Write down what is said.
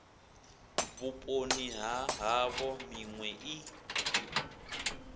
vhuponi ha havho minwe i